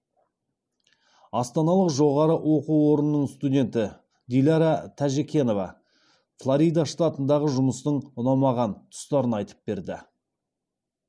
астаналық жоғары оқу орнының студенті дилара тәжекенова флорида штатындағы жұмыстың ұнамаған тұстарын айтып берді